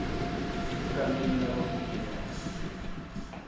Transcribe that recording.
egameni labafundi bawo